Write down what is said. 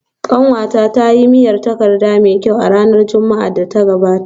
Kanwata ta yi miyar takarda mai kyau a ranar Juma’ar da ta gabata